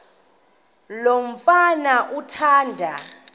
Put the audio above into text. lo mfana athanda